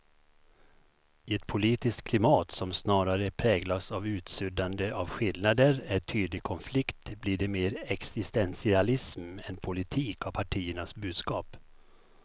I ett politiskt klimat som snarare präglas av utsuddande av skillnader än tydlig konflikt blir det mer existentialism än politik av partiernas budskap.